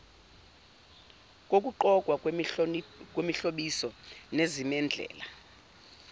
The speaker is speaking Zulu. kokugqokwa kwemihlobiso nezimendlela